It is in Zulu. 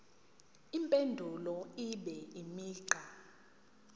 impendulo ibe imigqa